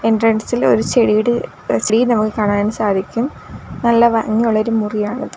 എൻട്രൻസിലെ ഒരു ചെടിയുടെ ചെടിയും നമുക്ക് കാണാൻ സാധിക്കും നല്ല ഭംഗിയുള്ളൊരു മുറിയാണിത്.